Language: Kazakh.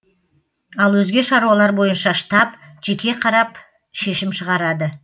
ал өзге шаруалар бойынша штаб жеке қарап шешім шығарады